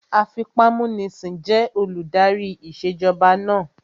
Afipámúnisìn jẹ́ olùdarí ìṣèjọba náà